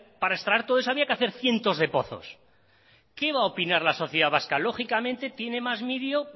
para extraer todo eso había que hacer cientos de pozos qué va a opinar la sociedad vasca lógicamente tiene mas miedo